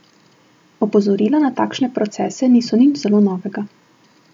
Opozorila na takšne procese niso nič zelo novega.